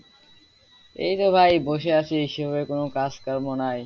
এইতো ভাই বসে আছি সেভাবে কোন কাজ কর্ম নাই।